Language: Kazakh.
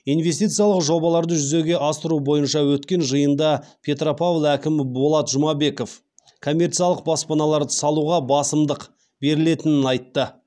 инвестициялық жобаларды жүзеге асыру бойынша өткен жиында петропавл әкімі болат жұмабеков коммерциялық баспаналарды салуға басымдық берілетінін айтты